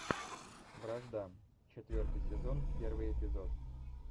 вражда четвертый сезон первый эпизод